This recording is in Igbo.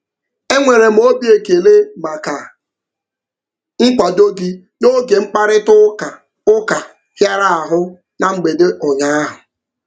E nwere m obi ekele maka nkwado gị n'oge mkparịtaụka ụka hịara ahụ na mgbede ụnyaahụ.